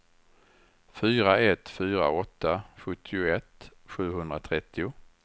fyra ett fyra åtta sjuttioett sjuhundratrettio